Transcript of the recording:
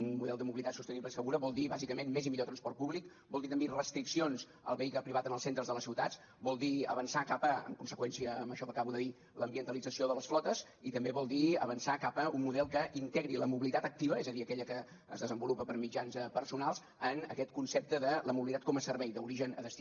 un model de mobilitat sostenible i segura vol dir bàsicament més i millor transport públic vol dir també restriccions al vehicle privat en els centres de les ciutats vol dir avançar cap a en conseqüència amb això que acabo de dir l’ambientalització de les flotes i també vol dir avançar cap a un model que integri la mobilitat activa és a dir aquella que es desenvolupa per mitjans personals en aquest concepte de la mobilitat com a servei d’origen a destí